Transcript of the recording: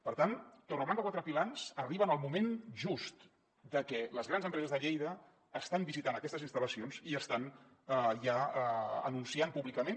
per tant torreblanca quatre pilans arriba en el moment just de que les grans empreses de lleida estan visitant aquestes instal·lacions i estan ja anunciant públicament